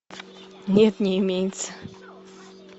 нет не имеется